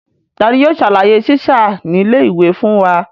Tani yóò ṣàlàyé sísá nílé ìwé fún wa?